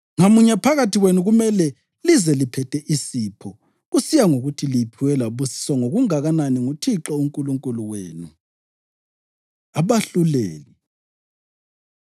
Ngamunye phakathi kwenu kumele lize liphethe isipho kusiya ngokuthi liphiwe labusiswa ngokunganani nguThixo uNkulunkulu wenu.” Abahluleli